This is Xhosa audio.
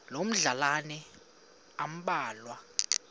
loo madlalana ambalwa